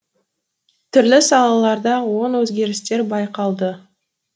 түрлі салаларда оң өзгерістер байқалды